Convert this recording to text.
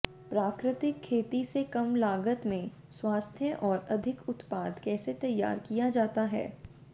प्राकृतिक खेती से कम लागत में स्वास्थ्य और अधिक उत्पाद कैसे तैयार किया जाता है